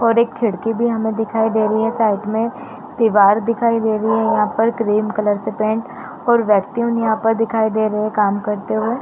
और एक खिड़की भी हमें दिखाई दे रही है। साइड में दीवार दिखाई दे रही है। यहाँ पर ग्रीन कलर से पेंट और यहाँ पर दिखाई दे रहे हैं काम करते हुए।